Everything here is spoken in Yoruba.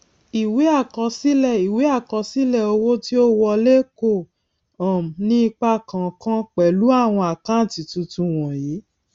ìwé àkọsílẹ ìwé àkọsílẹ owó tí ó wọlé kò um ní ipa kànkan pẹlú àwon àkántì tuntun wọnyìí